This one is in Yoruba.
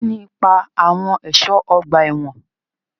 Kí ni ipa àwọn ẹ̀ṣọ́ ọgbà ẹ̀wọ̀n?